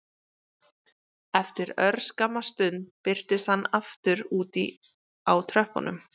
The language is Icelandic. Eftir örskamma stund birtist hann aftur úti á tröppunum